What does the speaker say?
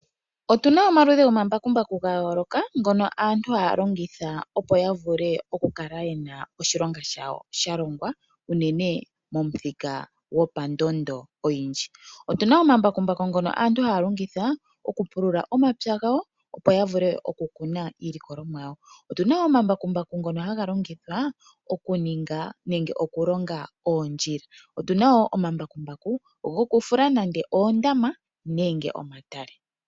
Otu na omaludhi gomambakumbaku ngono aantu haya vulu okulongitha, opo oshilonga shawo shi vule okukala shalongwa unene pamuthika gwopandondo oyindji. Otu na omambakumbaku ngono aantu haya longitha okupulula omapya gawo, opo ya kune iilikolomwa yawo. Otu na omambakumbaku gokulonga oondjila oshowo gokufula oondama nenge omatale.